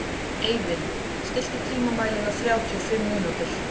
Eivin, stilltu tímamælinn á þrjátíu og fimm mínútur.